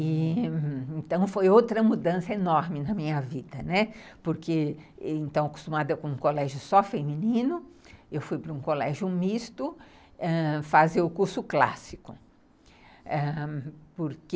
Então, foi outra mudança enorme na minha vida, né, porque, então, acostumada com um colégio só feminino, eu fui para um colégio misto fazer o curso clássico, ãh... porque...